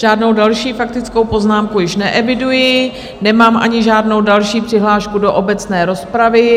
Žádnou další faktickou poznámku již neeviduji, nemám ani žádnou další přihlášku do obecné rozpravy.